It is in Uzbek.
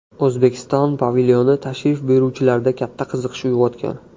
O‘zbekiston pavilyoni tashrif buyuruvchilarda katta qiziqish uyg‘otgan.